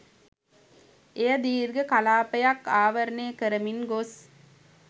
එය දීර්ඝ කලාපයක් ආවරණය කරමින් ගොස්